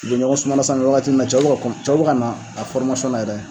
U be ɲɔgɔn sumana san nɔ wagati min na cɛw be ka kɔn cɛw be kana a na yɛrɛ.